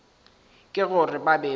ke gore ba be ba